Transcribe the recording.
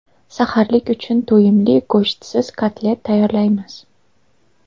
Saharlik uchun to‘yimli go‘shtsiz kotlet tayyorlaymiz.